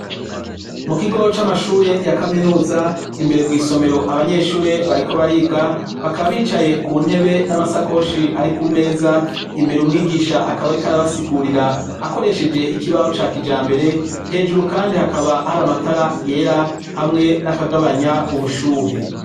Mu kigo c'amashure ya kaminuza, imbere mw'isomero abanyeshure bariko bariga ; bakaba bicaye ku ntebe n'amasakoshi ari ku meza . Imbere umwigisha akaba ariko arabasigurira akoresheje ikibaho ca kijambere. Hejuru kandi hakaba hari amatara yera hamwe n'akagabanya ubushuhe.